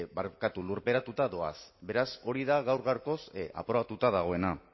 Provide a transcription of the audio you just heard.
barkatu lurperatuta doaz beraz hori da gaur gaurkoz aprobatuta dagoena